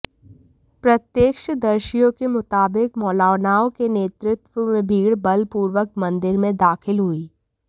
प्रत्यक्षदर्शियों के मुताबिक मौलानाओं के नेतृत्व में भीड़ बलपूर्वक मंदिर में दाखिल हुई